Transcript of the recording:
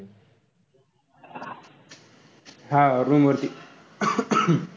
हा room वर.